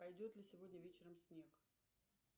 пойдет ли сегодня вечером снег